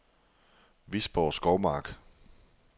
Visborg Skovmark